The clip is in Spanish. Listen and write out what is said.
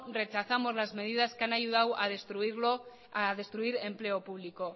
rechazamos las medidas que han ayudado a destruir empleo público